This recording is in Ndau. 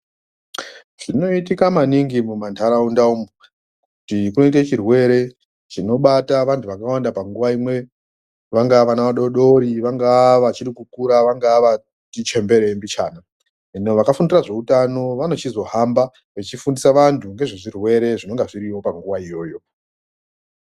Zvinoitika maningi mumantaraunda umu ee poite chirwere chinobata antu akawanda panguwa imwe vanagaa vana vadodori vangaa vachiri kukura vangaa vati chemberei mbichana vantu vakafundira zveutano vanochizohamba vechifundise vantungezvezvirwerw zvinenga zviriyo panguwa iyoyo.